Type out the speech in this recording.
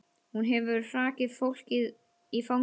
Hún hefur hrakið fólkið í fangið á þér.